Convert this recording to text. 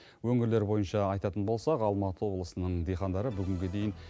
өңірлер бойынша айтатын болсақ алматы облысының диқандары бүгінге дейін